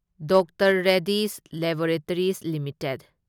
doctor Reddy's laboratories limited